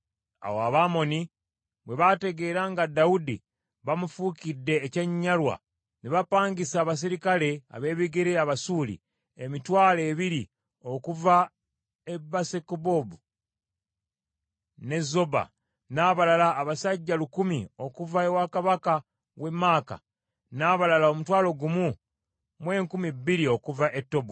Awo Abamoni bwe bategeera nga Dawudi bamufuukidde ekyenyinyalwa, ne bapangisa abaserikale ab’ebigere Abasuuli emitwalo ebiri okuva e Besukekobu n’e Zoba, n’abalala abasajja lukumi okuva ewa kabaka w’e Maaka, n’abalala omutwalo gumu mu enkumi bbiri okuva e Tobu.